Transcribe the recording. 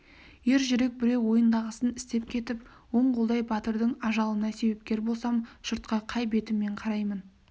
ер жүрек біреу ойындағысын істеп кетіп оң қолдай батырдың ажалына себепкер болсам жұртқа қай бетіммен қараймын